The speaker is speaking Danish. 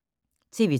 TV 2